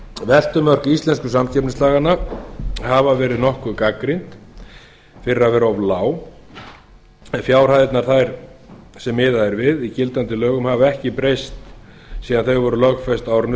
veltumörk íslensku samkeppnislaganna hafa verið nokkuð gagnrýnd fyrir að vera of lág fjárhæðirnar sem miðað er við í gildandi lögum hafa ekki breyst síðan þau voru lögfest á árinu